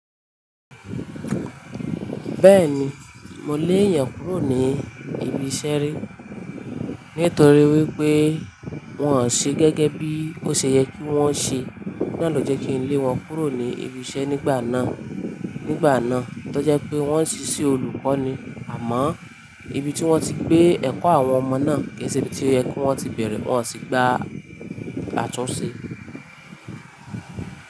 Bẹ́ẹ̀ni, mo lé èèyàn kúrò ní ibi iṣẹ́ rí. Nítorí wípé wọn ò ṣe gẹ́gẹ́ bí ó ṣe yẹ kí wón ṣe. Ohun naa lò jẹ́ kí n lé wọn kúrò ní ibi iṣẹ́ nígbà náà. Nígbà náà, tó je pé wọn ń ṣiṣẹ́ olùkọ́ ni àmọ́ ibi tí wón ti gbé ẹ̀kọ́ àwọn ọmọ náà kì í ṣe ibi tí ó yẹ kó ti bẹ̀rẹ̀, wón ò sì gba àtúnṣe.